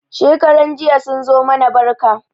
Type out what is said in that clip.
Shekaran jiya sun zo mana barka.